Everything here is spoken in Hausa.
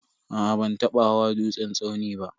Aa ban taba hawa dutsen tsauni ba.